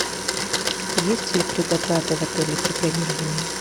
есть ли предоплата в отеле при бронировании